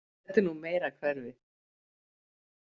Þetta er nú meira hverfið.